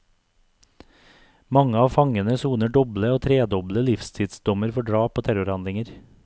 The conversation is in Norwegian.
Mange av fangene soner doble og tredoble livstidsdommer for drap og terrorhandlinger.